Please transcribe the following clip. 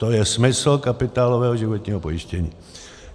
To je smysl kapitálového životního pojištění.